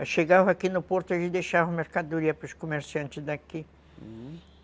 Eu chegava aqui no porto e deixava mercadoria para os comerciantes daqui, uhum.